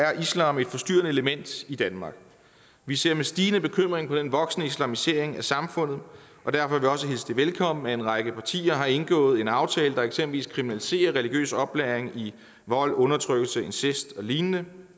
er islam et forstyrrende element i danmark vi ser med stigende bekymring på den voksende islamisering af samfundet og derfor har vi også hilst det velkommen at en række partier har indgået en aftale der eksempelvis kriminaliserer religiøs oplæring i vold undertrykkelse incest og lignende